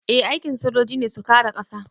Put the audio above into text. Eh aikin sojoji ne su kare ƙasa